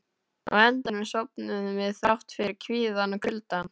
Á endanum sofnuðum við, þrátt fyrir kvíðann og kuldann.